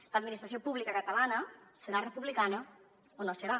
l’administració pública catalana serà republicana o no serà